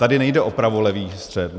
Tady nejde o pravolevý střet.